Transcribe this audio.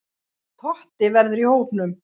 Totti verður í hópnum.